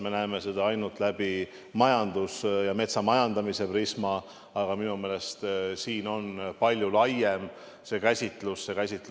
Me näeme seda ainult läbi majanduse ja metsamajandamise prisma, aga minu meelest on see käsitlus siin palju laiem.